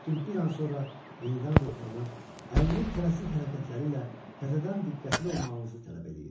Lakin bir an sonra yenidən ruhlanır, əlinin tələsik hərəkətləri ilə təzədən diqqətli olmağımızı tələb eləyir.